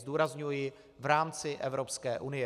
Zdůrazňuji - v rámci Evropské unie.